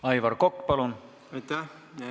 Aivar Kokk, palun!